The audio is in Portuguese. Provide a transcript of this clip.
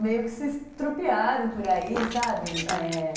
Meio que se estropiaram por aí, sabe? É...